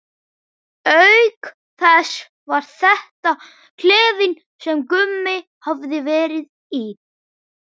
Auk þess var þetta klefinn sem Gummi hafði verið í.